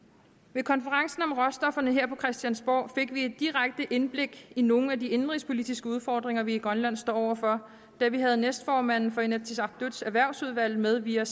ved konferencen om råstofferne her på christiansborg fik vi et direkte indblik i nogle af de indenrigspolitiske udfordringer vi i grønland står over for da vi havde næstformanden for inatsisartuts erhvervsudvalg med via